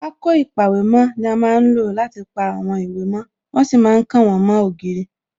Pákó ìpàwèmó ni a má ń lò láti pa àwọn ìwé mo, wọ́n sì ma ń kàn wọ́n mó ògiri